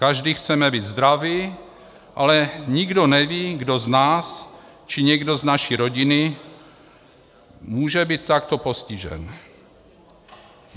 Každý chceme být zdravý, ale nikdo neví, kdo z nás či někdo z naší rodiny může být takto postižen.